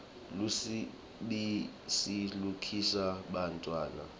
lubisi likhulisa bantfwana